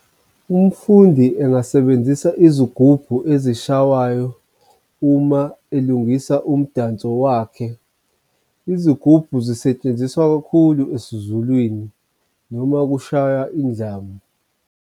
Umfundi engasebenzisa izigubhu ezishawayo uma elungisa umdanso wakhe. Izigubhu zisetshenziswa kakhulu esiZulwini noma kushawa indlamu.